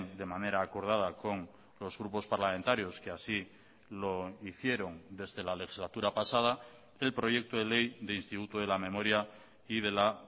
de manera acordada con los grupos parlamentarios que así lo hicieron desde la legislatura pasada el proyecto de ley de instituto de la memoria y de la